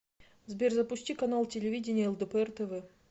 сбер запусти канал телевидения лдпр тв